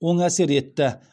оң әсер етті